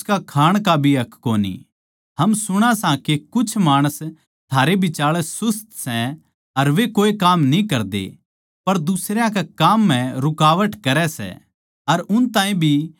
हम सुणां सां के कुछ माणस थारै बिचाळै सुस्त सै अर वे कोए काम न्ही करदे पर दुसरयां कै काम म्ह रुकावट करै सै अर उन ताहीं भी काम करण तै रोक्कै सै